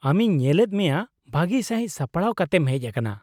-ᱟᱢᱤᱧ ᱧᱮᱞᱮᱫ ᱢᱮᱭᱟ ᱵᱷᱟᱹᱜᱤ ᱥᱟᱹᱦᱤᱡ ᱥᱟᱯᱲᱟᱣ ᱠᱟᱛᱮᱢ ᱦᱮᱡ ᱟᱠᱟᱱᱟ ᱾